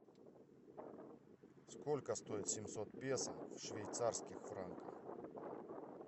сколько стоит семьсот песо в швейцарских франках